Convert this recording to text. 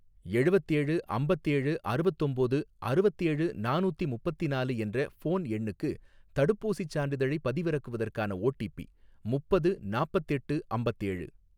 எழுவத்தேழு அம்பத்தேழு அறுவத்தொம்போது அறுவத்தேழு நானூத்தி முப்பத்திநாலு என்ற ஃபோன் எண்ணுக்கு தடுப்பூசிச் சான்றிதழைப் பதிவிறக்குவதற்கான ஓடிபி ,முப்பது நாப்பத்தெட்டு அம்பத்தேழு